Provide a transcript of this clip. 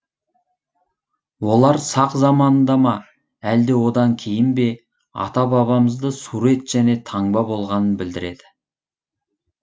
олар сақ заманында ма әлде одан кейін бе ата бабамызда сурет және таңба болғанын білдіреді